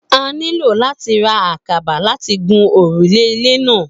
A nílò láti ra àkàbà láti fi gun òrùlé ilé náà